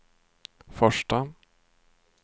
första